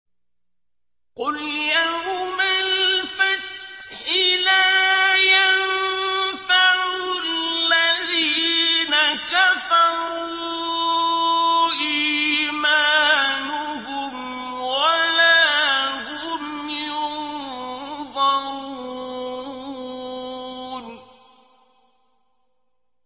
قُلْ يَوْمَ الْفَتْحِ لَا يَنفَعُ الَّذِينَ كَفَرُوا إِيمَانُهُمْ وَلَا هُمْ يُنظَرُونَ